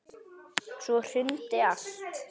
Svo hrundi allt.